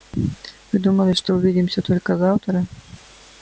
вы думали что увидимся только завтра